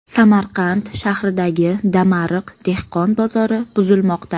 Samarqand shahridagi Damariq dehqon bozori buzilmoqda.